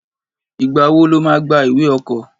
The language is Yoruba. Ìgbá wò lò mà gbà ìwé ọ̀kọ́?